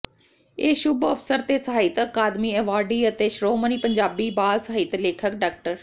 ਇਸ ਸ਼ੁਭ ਅਵਸਰ ਤੇ ਸਾਹਿਤ ਅਕਾਦਮੀ ਐਵਾਰਡੀ ਅਤੇ ਸ਼੍ਰੋਮਣੀ ਪੰਜਾਬੀ ਬਾਲ ਸਾਹਿਤ ਲੇਖਕ ਡਾ